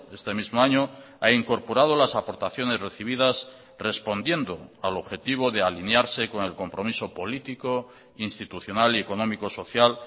este mismo año ha incorporado las aportaciones recibidas respondiendo al objetivo de alinearse con el compromiso político institucional y económico social